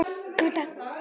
Kaffi, Takk!